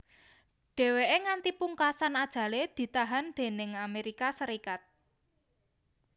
Dhèwèké nganti pungkasan ajalé ditahan déning Amérika Sarékat